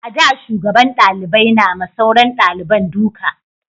a da shugaban dalibai na ma sauran daliban duka